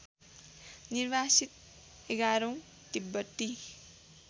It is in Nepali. निर्वासित एघारौँ तिब्बती